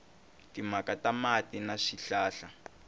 timhaka ta mati na swihlahla